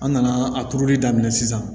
An nana a turuli daminɛ sisan